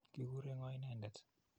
Kikure ng'o inendet?